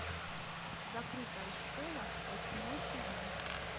закрытая школа восьмой сезон